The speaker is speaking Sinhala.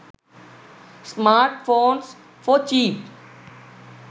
smartphones for cheap